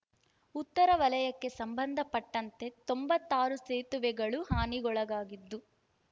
ಉತ್ತರ ವಲಯಕ್ಕೆ ಸಂಬಂಧಪಟ್ಟಂತೆ ತೊಂಬತ್ತಾರು ಸೇತುವೆಗಳು ಹಾನಿಗೊಳಗಾಗಿದ್ದು